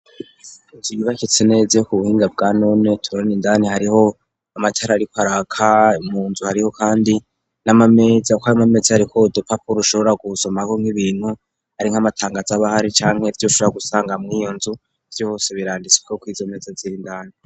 Nzu ibibakitse neziyo ku buhinga bwa none turana indani hariho amatari, ariko arakay mu nzu hariho, kandi n'amamezi ako arimamezi harikode papulo ushobora gusoma ko nk'ibintu ari nk'amatangazi abahari canke vyo ushora gusanga mwiyo nzu vyose biranditsweko kwiza meza zirndani.